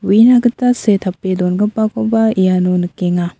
uina gita see tape dongipakoba iano nikenga.